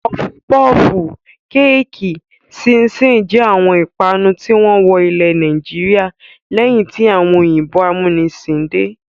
Pọfu pọfù, kéékì, ṣíín-ṣiìn jẹ́ àwọn ìpanu tí wọ́n wọ ilẹ̀ Nàìjíríà lẹ́yìn tí àwọn òyìnbó amúnisìn dé.